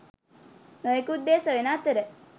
නොයෙකුත් දේ සොයන අතර